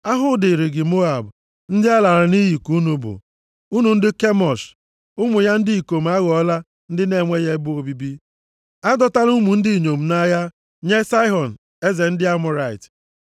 Ahụhụ dịrị gị Moab! Ndị a lara nʼiyi ka unu bụ, unu ndị Kemosh. Ụmụ ya ndị ikom aghọọla ndị na-enweghị ebe obibi. A dọtala ụmụ ndị inyom nʼagha, nye Saịhọn eze ndị Amọrait.